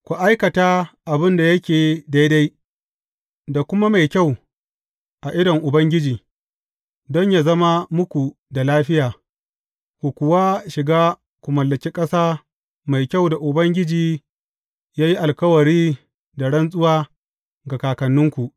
Ku aikata abin da yake daidai da kuma mai kyau a idon Ubangiji, don yă zama muka da lafiya, ku kuwa shiga ku mallaki ƙasa mai kyau da Ubangiji ya yi alkawari da rantsuwa ga kakanninku.